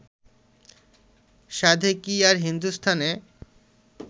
সাধে কি আর হিন্দুস্থানে